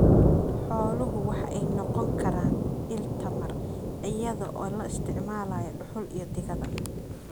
Xooluhu waxa ay noqon karaan il tamar iyadoo la isticmaalayo dhuxul iyo digada.